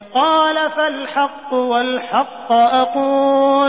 قَالَ فَالْحَقُّ وَالْحَقَّ أَقُولُ